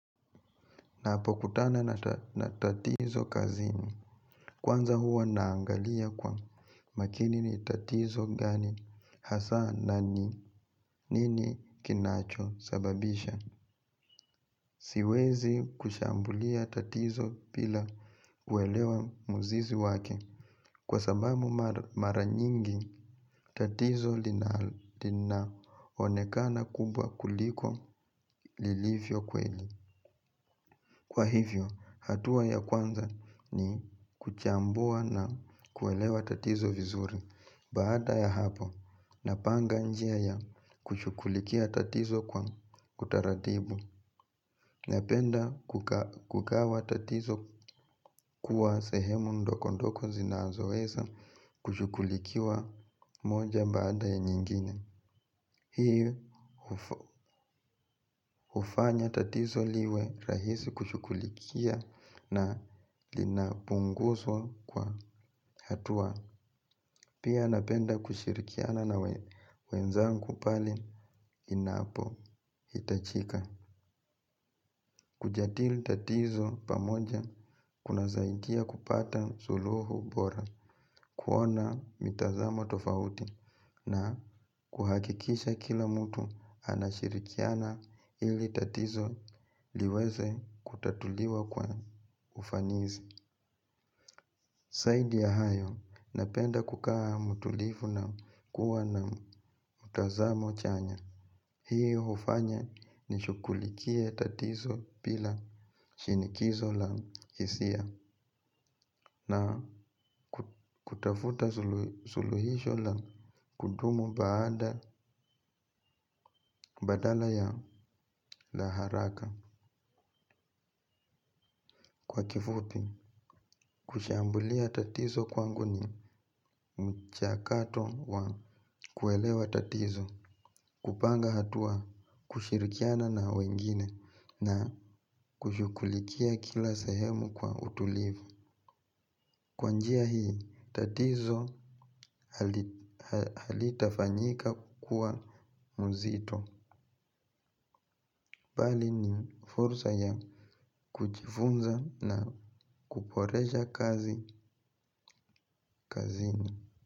Napokutana na tatizo kazini. Kwanza huwa naangalia kwa makini ni tatizo gani, hasa na ni nini kinachosababisha. Siwezi kushambulia tatizo bila kuelewa muzizi wake. Kwa sababu mara nyingi, tatizo linaonekana kubwa kuliko lilivyo kweli. Kwa hivyo, hatua ya kwanza ni kuchambua na kuelewa tatizo vizuri baada ya hapo napanga njia ya kushughulikia tatizo kwa utaratibu. Napenda kukawa tatizo kuwa sehemu ndokondoko zinazoweza kushukulikiwa moja baada ya nyingine. Hii hufanya tatizo liwe rahisi kushukulikia na linapunguswa kwa hatua. Pia napenda kushirikiana na wenzangu pale inapohitachika. Kujadili tatizo pamoja kunasaindia kupata suluhu bora kuona mitazamo tofauti na kuhakikisha kila mtu anashirikiana ili tatizo liweze kutatuliwa kwa ufanizi. Saidi ya hayo napenda kukaa mutulifu na kuwa na mtazamo chanya. Hii hufanya nishukulikie tatizo bila shinikizo la hisia na kutafuta suluhisho la kudumu baada badala ya la haraka. Kwa kifupi kushambulia tatizo kwangu ni mchakato wa kuelewa tatizo. Kupanga hatua kushirikiana na wengine na kushughulikia kila sehemu kwa utulivu. Kwa njia hii tatizo halitafanyika kukua mzito. Bali ni furza ya kujifunza na kuporesha kazi kazini.